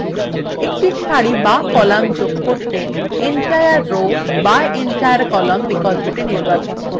একটি সারি বা column যোগ করতে entire row বা entire column বিকল্পটি নির্বাচন করুন